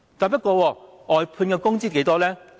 不過，外判員工的工資是多少呢？